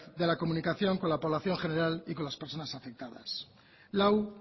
de la comunicación con la población general y con las personas afectadas lau